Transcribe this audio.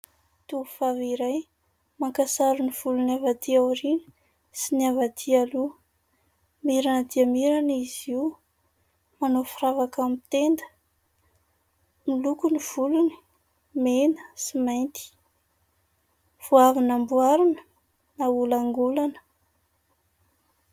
Tovovavy iray maka sary ny volony avy aty aoriana sy ny avy aty aloha. Mirana dia mirana izy io, manao firavaka amin'ny tenda. Miloko ny volony, mena sy mainty. Vao avy namboarina, naolangolana.